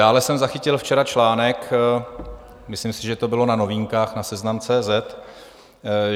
Dále jsem zachytil včera článek, myslím si, že to bylo na Novinkách na Seznam.cz